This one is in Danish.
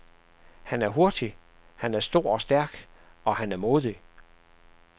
Han er hurtig, han er stor og stærk, og han er modig.